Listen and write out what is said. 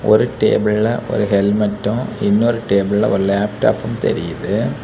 ஒரு டேபிள்ல ஒரு ஹெல்மெட்டும் இன்னொரு டேபிள்ல ஒரு லேப்டாப்பும் தெரியுது.